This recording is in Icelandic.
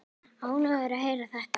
Ánægður að heyra þetta.